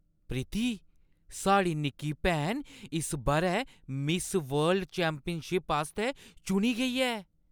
प्रीति! साढ़ी निक्की भैन इस बʼरै मिस वर्ल्ड चैंपियनशिप आस्तै चुनी गेई ऐ!